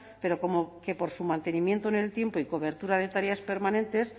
pero como que por su mantenimiento en el tiempo y cobertura de tareas permanentes